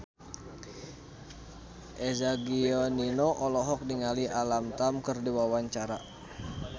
Eza Gionino olohok ningali Alam Tam keur diwawancara